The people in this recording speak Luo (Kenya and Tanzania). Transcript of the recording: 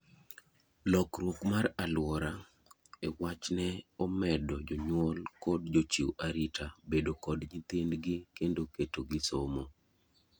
lokruk mar aluora e wach ne omedo jonyul kod jochiw arita bedo kod nyithindgi kendo keto gi somo